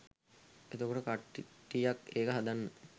එතකොට කට්ටියක් ඒක හදන්න